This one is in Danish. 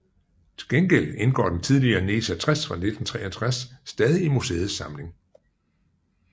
Til gengæld indgår den tidligere NESA 60 fra 1963 stadig i museets samling